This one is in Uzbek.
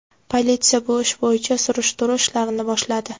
Politsiya bu ish bo‘yicha surishtiruv ishlarini boshladi.